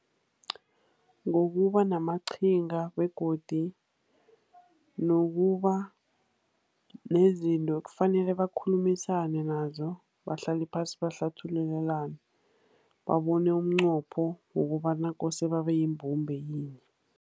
Ngokuba namaqhinga, begodu nokuba nezinto ekufanele bakhulumisane nazo, bahlale phasi bahlathululelane, babone umnqopho wokobana kose babe yimbumba yinye.